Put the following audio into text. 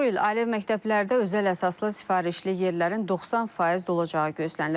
Bu il ali məktəblərdə özəl əsaslı sifarişli yerlərin 90% dolacağı gözlənilir.